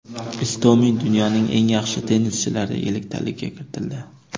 Istomin dunyoning eng yaxshi tennischilari elliktaligiga kiritildi.